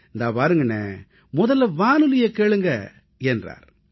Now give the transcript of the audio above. இதோ பாருங்கண்ணே முதல்ல வானொலியை கேளுங்க என்றார்